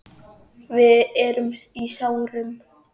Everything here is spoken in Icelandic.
Við erum í sárum.